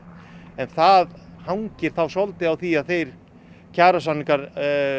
en það hangir þá svolítið á því að þeir kjarasamningar